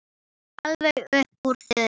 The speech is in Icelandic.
Alveg upp úr þurru?